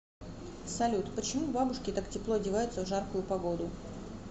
салют почему бабушки так тепло одеваются в жаркую погоду